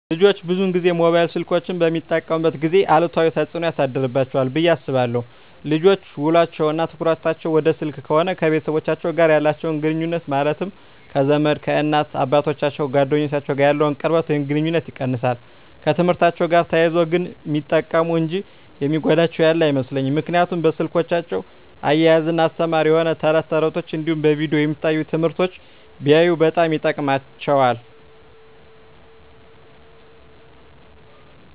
ልጆች ብዙን ጊዜ ሞባይል ስልኮችን በሚጠቀሙበት ጊዜ አሉታዊ ተፅዕኖ ያሳድርባቸዋል ብየ አስባለው ልጆች ውሎቸው እና ትኩረታቸውን ወደ ስልክ ከሆነ ከቤተሰቦቻቸው ጋር ያላቸውን ግኑኙነት ማለትም ከዘመድ፣ ከእናት አባቶቻቸው፣ ከጓደኞቻቸው ጋር ያለውን ቅርበት ወይም ግኑኝነት ይቀንሳል። በትምህርትአቸው ጋር ተያይዞ ግን ሚጠቀሙ እንጂ የሚጎዳቸው ያለ አይመስለኝም ምክንያቱም በስልኮቻቸው እያዝናና አስተማሪ የሆኑ ተረት ተረቶች እንዲሁም በቪዲዮ የሚታዩ ትምህርቶችን ቢያዩ በጣም ይጠቅማቸዋል።